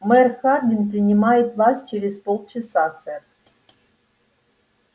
мэр хардин принимает вас через полчаса сэр